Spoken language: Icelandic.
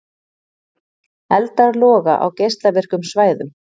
Eldar loga á geislavirkum svæðum